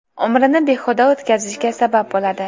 umrini behuda o‘tkazishga sabab bo‘ladi.